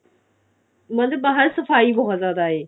ਮਤਲਬ ਬਾਹਰ ਸਫਾਈ ਬਹੁਤ ਜਿਆਦਾ ਹੈ